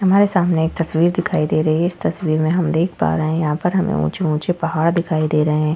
हमारे सामने एक तस्वीर दिखाई दे रही है। इस तस्वीर में हम देख पा रहे है यहाँ पर हमे ऊँचे-ऊँचे पहाड़ दिखाई दे रहे है।